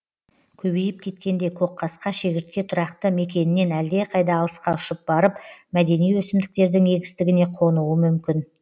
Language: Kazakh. көбейіп кеткенде көкқасқа шегіртке тұрақты мекенінен әлдеқайда алысқа ұшып барып мәдени өсімдіктердің егістігіне қонуы мүмкін